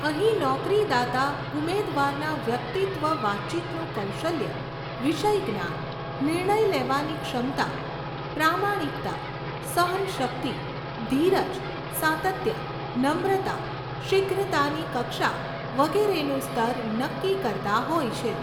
અહીં નોકરીદાતા ઉમેદવારના વ્યક્તિત્વ વાતચીતનું કૌશલ્ય, વિષયજ્ઞાન, નિર્ણય લેવાની ક્ષમતા, પ્રામાણિકતા, સહનશક્તિ, ધીરજ, સાતત્ય, નમ્રતા, શીઘ્રતાની કક્ષા વગેરેનું સ્તર નક્કી કરતાં હોય છે.